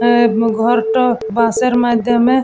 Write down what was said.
আহ ঘরটা বাঁশের মাধ্যমে--